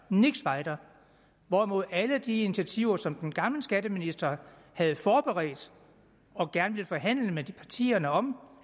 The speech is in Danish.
nichts weiter hvorimod alle de initiativer som den gamle skatteminister havde forberedt og gerne ville forhandle med partierne om